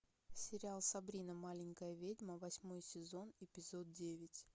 сериал сабрина маленькая ведьма восьмой сезон эпизод девять